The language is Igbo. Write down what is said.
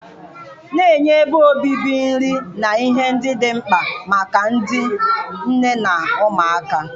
na-enye ebe obibi, nri, na ihe ndị dị mkpa maka ndị nne na ụmụaka,